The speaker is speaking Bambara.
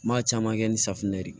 N b'a caman kɛ ni safinɛ ye